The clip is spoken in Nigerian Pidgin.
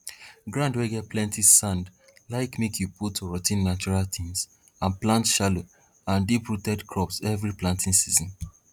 ground wey get plenti sand like make you put rot ten natural tins and plant shallow and deep rooted crops every planting season